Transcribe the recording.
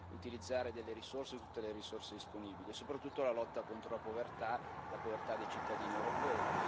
utilizzare delle risorse, tutte le risorse disponibili e, soprattutto, alla lotta contro la povertà, la povertà dei cittadini europei.